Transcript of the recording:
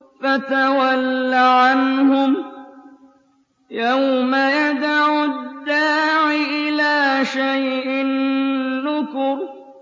فَتَوَلَّ عَنْهُمْ ۘ يَوْمَ يَدْعُ الدَّاعِ إِلَىٰ شَيْءٍ نُّكُرٍ